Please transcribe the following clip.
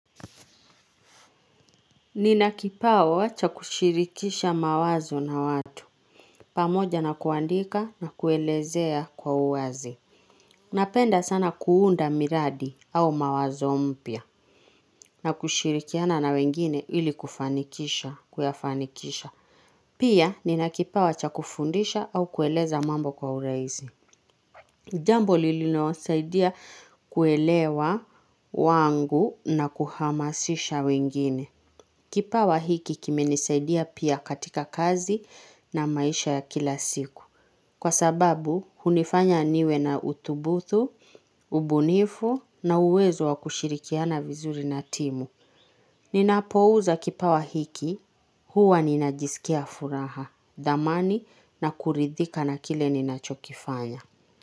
Nina kipawa cha kushirikisha mawazo na watu. Pamoja na kuandika na kuelezea kwa uwazi. Napenda sana kuunda miradi au mawazo mpya. Na kushirikiana na wengine ili kufanikisha, kuyafanikisha. Pia, nina kipawa cha kufundisha au kueleza mambo kwa urahisi. Jambo lililo saidia kuelewa wangu na kuhamasisha wengine. Kipawa hiki kimenisaidia pia katika kazi na maisha ya kila siku. Kwa sababu, hunifanya niwe na utubuthu, ubunifu na uwezo wa kushirikiana vizuri na timu. Ninapouza kipawa hiki, huwa ninajisikia furaha, dhamani na kuridhika na kile ninachokifanya.